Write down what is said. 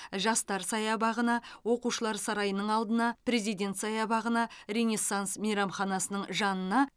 жастар саябағына оқушылар сарайының алдына президент саябағына ренессанс мейрамханасының жанына